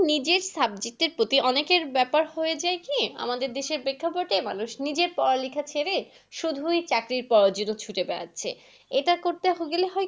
নিজের subject এর প্রতি অনেকের ব্যাপার হয়ে যায় কি। আমাদের দেশে প্রেক্ষাপটে মানুষ নিজের পড়ালেখা ছেড়ে, শুধুই চাকরি করার জন্য ছুটে বেড়াচ্ছে। এটা এখন করতে গেলে,